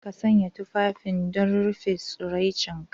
Ka sanya tufafi don rufe tsiraicinka.